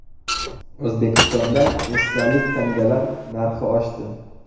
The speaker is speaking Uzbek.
O‘zbekistonda esdalik tangalar narxi oshdi.